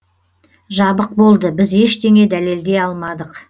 жабық болды біз ештеңе дәлелдей алмадық